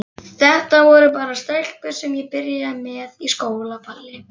Þetta voru bara stelpur sem ég byrjaði með á skólaballi.